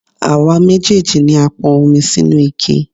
Àwa méjèèjì ni a pọn omi sínú ike.